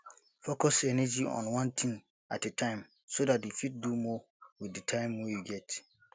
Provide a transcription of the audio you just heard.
focus energy on one thing at a time so dat you fit do more with di time wey you get